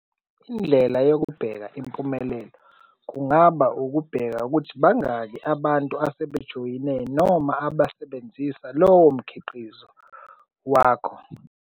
Indlela yokubheka impumelelo kungaba ukubheka ukuthi bangaki abantu asebejoyine noma abasebenzisa lowo mkhiqizo wakho.